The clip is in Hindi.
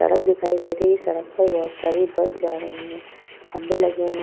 सड़क दिखाई दे रही है। सड़क पर बहोत सारी बस जा रही हैं। खंबे लगे हुए --